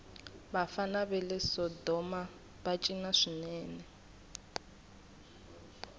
vafana vale sodomava cina swinene